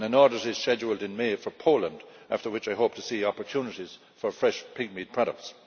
An audit is scheduled in May for Poland, after which I hope to see opportunities for fresh pigmeat products.